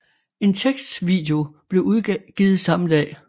En tekstvideo blev udgivet samme dag